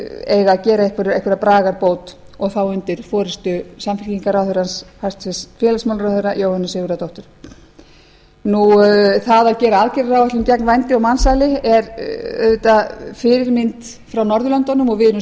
eiga að gera einhverja bragarbót og þá undir forustu samfylkingarráðherrans hæstvirts félagsmálaráðherra jóhönnu sigurðardóttur það að gera aðgerðaáætlun gegn vændi og mansali er auðvitað fyrirmynd frá norðurlöndunum og við erum